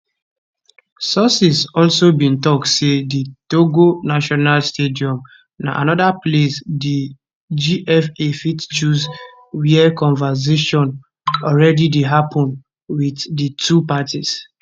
sources also bin tok say di togo national stadium na anoda place di gfa fit choose wia conversation already dey happun wit di two parties